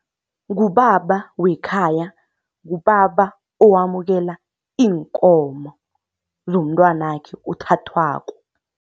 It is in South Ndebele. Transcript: Ngubaba wekhaya, ngubaba owamukela iinkomo zomntwanakhe othathwako.